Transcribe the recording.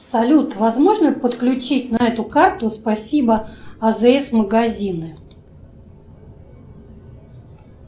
салют возможно подключить на эту карту спасибо азс магазины